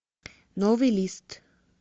новый лист